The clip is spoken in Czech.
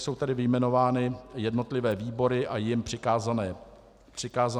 Jsou zde vyjmenovány jednotlivé výbory a jim přikázané kapitoly.